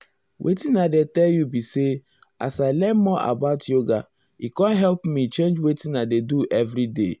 wetin i dey tell you be say as i learn more about yoga e com help me change wetin i dey do every day.